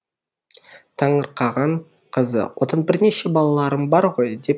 таңырқаған қызы одан бірнеше балаларым бар ғой деп